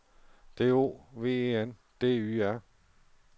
D O V E N D Y R